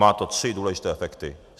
Má to tři důležité efekty.